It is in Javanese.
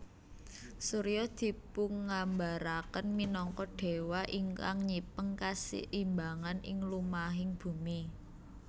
Surya dipungambaraken minangka déwa ingkang nyipeng kaseimbangan ing lumahing bumi